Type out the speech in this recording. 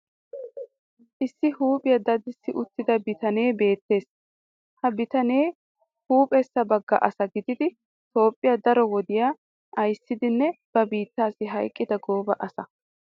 Issi huuphphiya dadissi uttida bitanee beettees. Ha bitanee huuphessa bagga asa gididi Toophphiya daro wodiya ayssidanne ba biittaassi hayqqida gooba asa